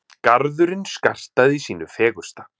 Garðurinn skartaði sínu fegursta.